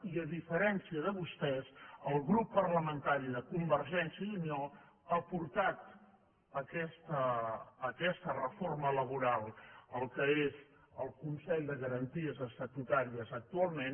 i a diferència de vostès el grup parlamentari de convergència i unió ha portat aquesta reforma laboral al que és el consell de garanties estatutàries actualment